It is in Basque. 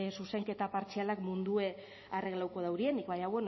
zuzenketa partzialak mundua arreglatuko daurienik baina